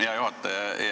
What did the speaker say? Hea juhataja!